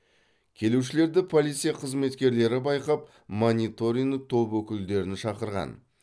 келушілерді полиция қызметкерлері байқап мониторинг топ өкілдерін шақырған